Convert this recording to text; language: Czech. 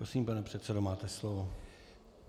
Prosím, pane předsedo, máte slovo.